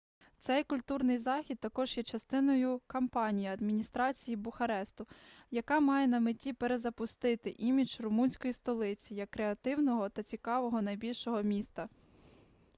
цей культурний захід також є частиною кампанії адміністрації бухаресту яка має на меті перезапустити імідж румунської столиці як креативного та цікавого найбільшого міста